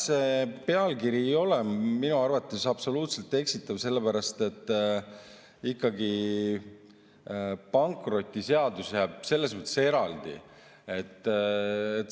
See pealkiri ei ole minu arvates absoluutselt eksitav, sellepärast et pankrotiseadus jääb selles mõttes ikkagi eraldi.